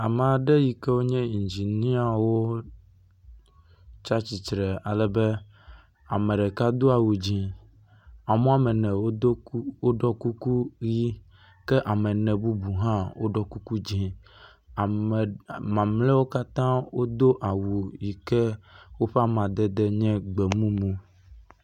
Ame aɖe yi ke wonye Inginiawo tsi atsitre alebe ame ɖeka do awu dzɛ̃ ame woame ene wodo ku…wɔɖɔ kuku ʋi ke ame ene bubu hã woɖɔ kuku dzɛ̃. Ame mamleawo hã woɖɔ kuku yi ke woʋe amadede nye gbe mumu.